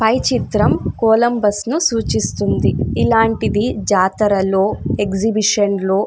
పై చిత్రం కొలంబస్ ని సూచిస్తుంది ఇలాంటిది జాతరలో ఎక్సిహిబిషన్లో --